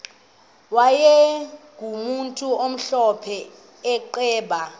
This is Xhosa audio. wayegumntu omhlophe eqhuba